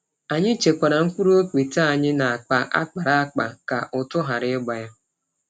Anyị chekwara mkpụrụ okpete anyị nakpa akpara akpa ka ụtụ ghara ịgba ya.